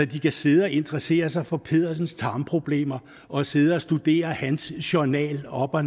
de kan sidde og interessere sig for pedersens tarmproblemer og sidde og studere hans journal op og